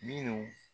Minnu